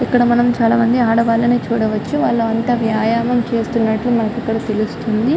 ఇక్కడ మనం చాలా మంది ఆడవాలని చూడవచ్చు అక్కడ అంత వ్యాయామం చేస్తున్నారు --